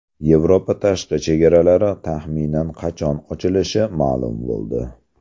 Yevropa tashqi chegaralari taxminan qachon ochilishi ma’lum bo‘ldi.